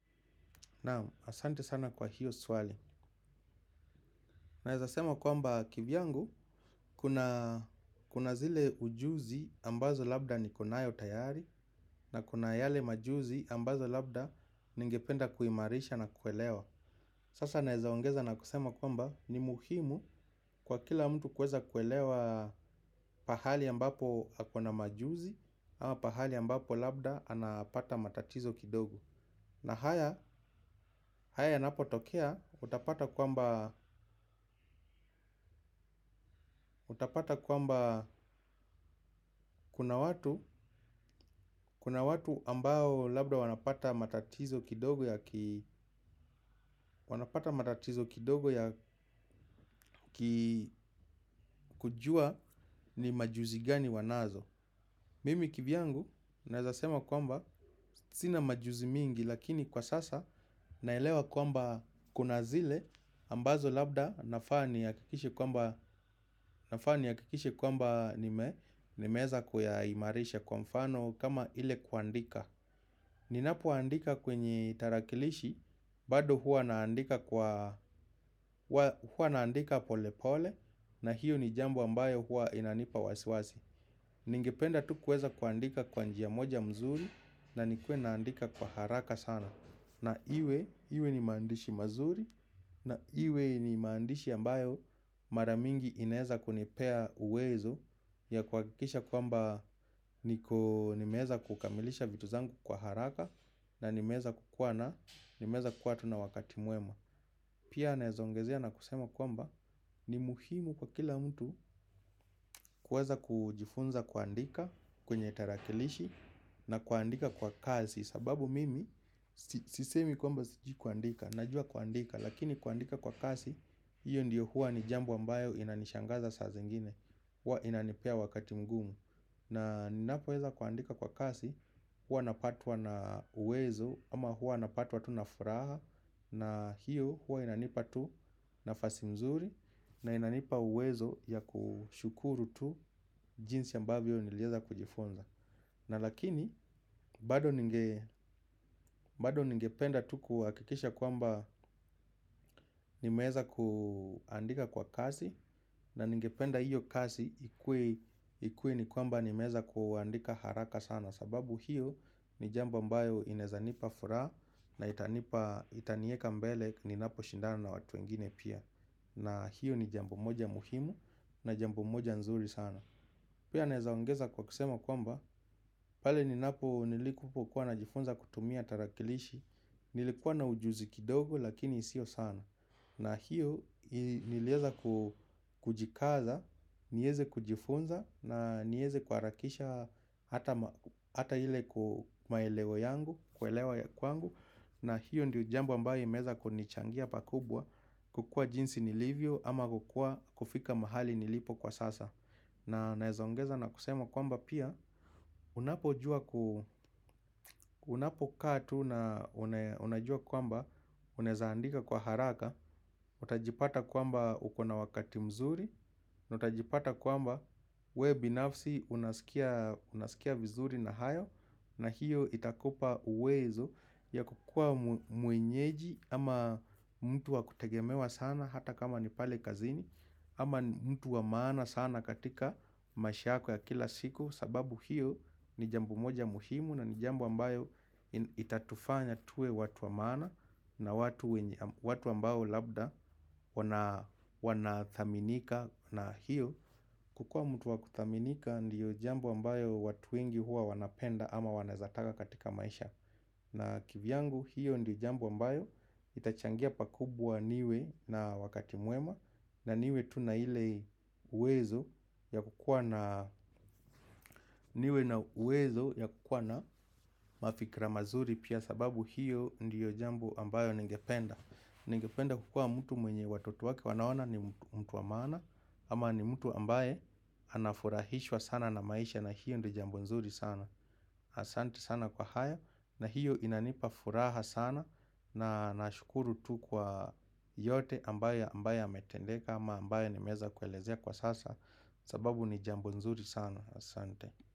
Naam, asante sana kwa hiyo swali. Naeza sema kwamba kivyangu, kuna, kuna zile ujuzi ambazo labda nikonayo tayari na kuna yale majuzi ambazo labda ningependa kuimarisha na kuelewa. Sasa naeza ongeza na kusema kwamba ni muhimu kwa kila mtu kueza kuelewa pahali ambapo ako na majuzi ama pahali ambapo labda anapata matatizo kidogo. Na haya, haya yanapotokea utapata kwamba utapata kwamba kuna watu, kuna watu ambao labda wanapata matatizo kidogo ya ki, wanapata matatizo kidogo ya ki, kujua ni majuzi gani wanazo. Mimi kivyangu naeza sema kwamba sina majuzi mingi lakini kwa sasa naelewa kwamba kuna zile ambazo labda nafaa nihakikishe kwamba nafaa nihakikishe kwamba nime, nimeeza kuyaimarisha kwa mfano kama ile kuandika. Ninapoandika kwenye tarakilishi, bado huwa naandika kwa, huwa naandika pole pole na hiyo ni jambo ambayo hua inanipa wasiwasi. Ningependa tu kuweza kuandika kwa njia ya moja mzuri na nikuwe naandika kwa haraka sana na iwe iwe ni maandishi mazuri na iwe ni maandishi ambayo maramingi inaeza kunipea uwezo ya kuhakikisha kwamba nimeeza kukamilisha vitu zangu kwa haraka na nimeeza kukuwa na, nimeeza kukuwa tu na wakati mwema. Pia naezongezea na kusema kwamba ni muhimu kwa kila mtu kuweza kujifunza kuandika kwenye tarakilishi na kuandika kwa kazi. Sababu mimi sisemi kwamba sijui kuandika, najua kuandika, lakini kuandika kwa kasi, hiyo ndiyo hua ni jambo ambayo inanishangaza saa zingine huwa inanipea wakati mgumu. Na ninapoeza kuandika kwa kasi huwa napatwa na uwezo ama huwa napatwa tu na furaha na hiyo huwa inanipa tu nafasi mzuri na inanipa uwezo ya kushukuru tu jinsi ya ambavyo nilieza kujifunza. Na lakini, bado ninge, bado ningependa tu kuhakikisha kwamba nimeeza kuandika kwa kasi. Na ningependa hiyo kasi ikuwe ni kwamba nimeeza kuandika haraka sana sababu hiyo ni jambo ambayo inaezanipa furaha na itanipa, na itanieka mbele ninapo shindana na watu wengine pia. Na hiyo ni jambo moja muhimu na jambo moja nzuri sana. Pia naezaongeza kwa kusema kwamba, pale ninapo, nilikupo kuwa na jifunza kutumia tarakilishi, nilikuwa na ujuzi kidogo lakini sio sana. Na hiyo nilieza kujikaza, nieze kujifunza na nieze kuharakisha hata ile maelewo yangu, kuelewa ya kwangu. Na hiyo ndio jambo ambayo imeza kunichangia pakubwa, kukua jinsi nilivyo ama kukua kufika mahali nilipo kwa sasa. Na naeza ongeza na kusema kwamba pia, unapojua unapokaa tu na unajua kwamba, unaezaandika kwa haraka, utajipata kwamba uko na wakati mzuri, utajipata kwamba we binafsi unasikia, unasikia vizuri na hayo na hiyo itakupa uwezo ya kukua mwenyeji ama mtu wa kutegemewa sana hata kama ni pale kazini ama mtu wa maana sana katika maisha yako ya kila siku sababu hiyo ni jambo moja muhimu na ni jambo ambayo itatufanya tuwe watu wa maana na watu wenye, watu ambao labda wanathaminika na hiyo. Kukua mtu wa kuthaminika ndiyo jambo ambayo watu wengi huwa wanapenda ama wanaezataka katika maisha. Na kivyangu hiyo ndiyo jambo ambayo itachangia pakubwa niwe na wakati mwema na niwe tu na ile uwezo ya kukuwa na, niwe na uwezo ya kukuwa na mafikra mazuri pia sababu hiyo ndiyo jambo ambayo ningependa. Nengependa kukua mtu mwenye watoto wake wanaona ni mtu wa maana ama ni mtu ambaye anafurahishwa sana na maisha na hiyo ndiyo jambo nzuri sana. Asante sana kwa haya na hiyo inanipa furaha sana. Na nashukuru tu kwa yote ambaye ambaye yametendeka ama ambaye nimeeza kuelezea kwa sasa. Sababu ni jambo nzuri sana. Asante.